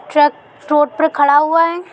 Truck road पर खड़ा हुआ है ।